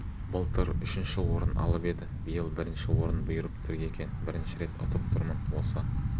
былтыр үшінші орын алып еді биыл бірінші орын бұйырып тұр екен бірінші рет ұтып тұрмын осы